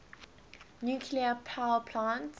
nuclear power plants